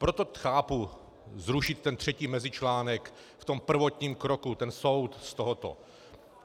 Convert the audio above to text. Proto chápu zrušit ten třetí mezičlánek v tom prvotním kroku, ten soud z tohoto.